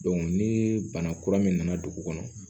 ni bana kura min nana dugu kɔnɔ